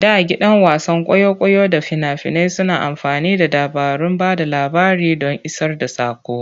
Da gidan wasan kwaikwayo da fina-finai suna amfani da dabarun ba da labari don isar da saƙo.